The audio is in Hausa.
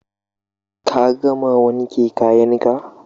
Ka gama wanke kayan ka?